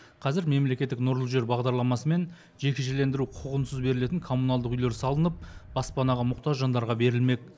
қазір мемлекеттік нұрлы жер бағдарламасы мен жекешелендіру құқығынсыз берілетін коммуналдық үйлер салынып баспанаға мұқтаж жандарға берілмек